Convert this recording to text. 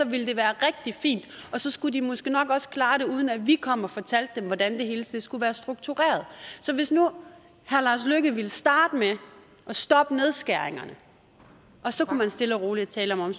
ville være rigtig fint og så skulle de måske nok også klare det uden at vi kom og fortalte dem hvordan det hele skulle være struktureret så hvis nu herre lars løkke rasmussen ville starte med at stoppe nedskæringerne så kunne man stille og roligt tale om